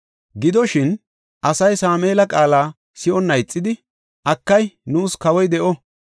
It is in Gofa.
Gidoshin, asay Sameela qaala si7onna ixidi, “Akay, nuus kawoy de7o.